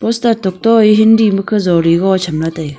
chata tok e hindi makhe jali goh chamla taiga.